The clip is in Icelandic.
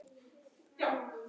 Já segja þau einum rómi.